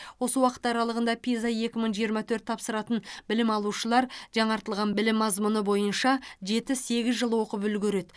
осы уақыт аралығында пиза екі мың жиырма төрт тапсыратын білім алушылар жаңартылған білім мазмұны бойынша жеті сегіз жыл оқып үлгереді